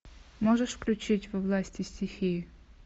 можешь включить во власти стихии